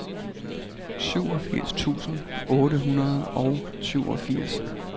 syvogfirs tusind otte hundrede og syvogfirs